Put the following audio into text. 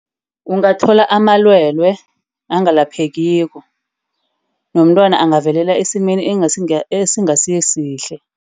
Ungathola amalwele angalaphekiko. Nomntwana angavelela esimeni esingasisihle.